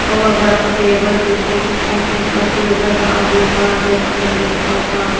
hogah barah table kopo pah table awoh kah akim tapa pah.